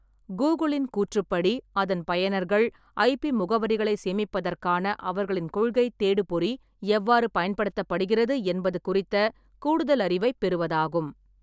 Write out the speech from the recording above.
கூகுளின் கூற்றுப்படி, அதன் பயனர்களின் ஐபி முகவரிகளை சேமிப்பதற்கான அவர்களின் கொள்கை தேடுபொறி எவ்வாறு பயன்படுத்தப்படுகிறது என்பது குறித்த கூடுதல் அறிவைப் பெறுவதாகும்.